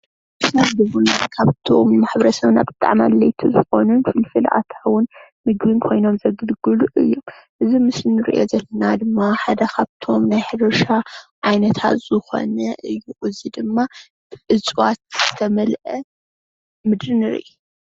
ቢዝነስ ምድሪ ካብቶም ማሕበረሰብና ዘተአማምን ዝኾነ ፍልፍላት ኣታዊ ምግቢን ኮይኖም ዘገልግሉ፤ እዚ ምስሊ ንሪኦ ዘለና ድማ ሓደ ካብቶም ናይ ሕርሻ ዓይነታት ዝኮነ እዩ፡፡ እዚ ድማ እፅዋት ዝተመልአ ምድሪ ንሪኢ፡፡